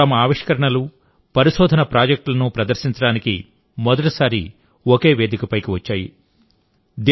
లు తమ ఆవిష్కరణలుపరిశోధన ప్రాజెక్టులను ప్రదర్శించడానికి మొదటిసారి ఒకే వేదికపైకి వచ్చాయి